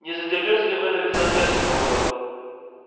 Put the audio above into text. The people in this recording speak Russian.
не задёрнете ли вы занавеску командор